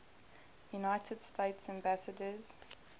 united states ambassadors